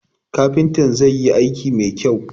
Kafintan zai yi aiki mai kyau